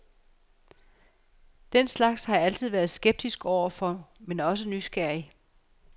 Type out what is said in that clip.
Den slags har jeg altid været meget skeptisk overfor, men også nysgerrig.